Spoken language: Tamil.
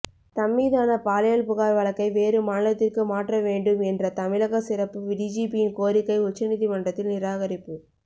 தம்மீதான பாலியல் புகார் வழக்கை வேறு மாநிலத்திற்கு மாற்ற வேண்டும் என்ற தமிழக சிறப்பு டிஜிபியின் கோரிக்கை உச்சநீதிமன்றத்தில் நிராகரிப்பு